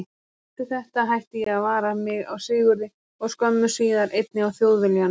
Eftir þetta hætti ég að vara mig á Sigurði og skömmu síðar einnig á Þjóðviljanum.